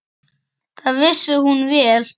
Það vissi hún vel.